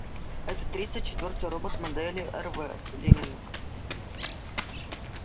это тридцать четвёртый робот модели рв лэннинг